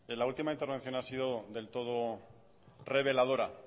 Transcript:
la última intervención ha sido del todo reveladora